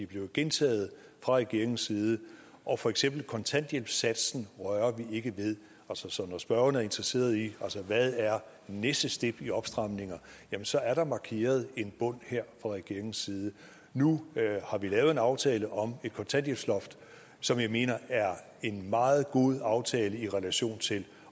blevet gentaget fra regeringens side og for eksempel kontanthjælpssatsen rører vi ikke ved så når spørgeren er interesseret i hvad næste step er i opstramninger jamen så er der markeret en bund her fra regeringens side nu har vi lavet en aftale om et kontanthjælpsloft som jeg mener er en meget god aftale i relation til